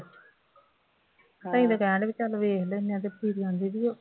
ਤਾਂ ਹੀ ਤਾਂ ਕਹਿਣ ਡੇ ਆ ਬਈ ਚੱਲ ਵੇਖ ਲੈਂਦੇ ਹਾਂ,